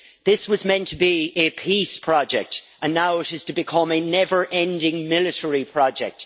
This was meant to be a peace project and now it is to become a never ending military project.